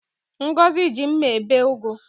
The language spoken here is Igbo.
Ngọzi ji mma ebe ugu